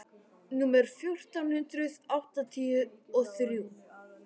númer fjórtán hundruð áttatíu og þrjú.